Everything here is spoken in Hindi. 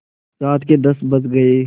रात के दस बज गये